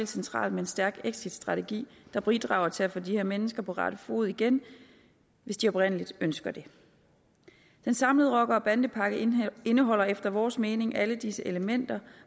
centralt med en stærk exitstrategi der bidrager til at få de her mennesker på rette spor igen hvis de oprigtigt ønsker det den samlede rocker og bandepakke indeholder efter vores mening alle disse elementer